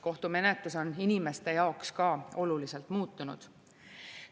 Kohtumenetlus on inimeste jaoks ka oluliselt muutunud.